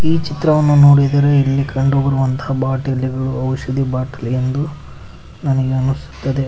ಈ ಚಿತ್ರವನ್ನು ನೋಡಿದರೆ ಇಲ್ಲಿ ಕಂಡುಬರುವಂತಹ ಬಾಟಲಿಗಳು ಔಷಧಿ ಬಾಟಲಿ ಎಂದು ನನಗೆ ಅನ್ನಿಸುತ್ತದೆ ಹಾಗ್--